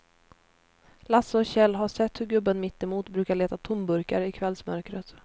Lasse och Kjell har sett hur gubben mittemot brukar leta tomburkar i kvällsmörkret.